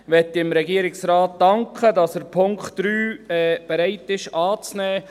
Ich danke dem Regierungsrat, dass er bereit ist, den Punkt 3 anzunehmen.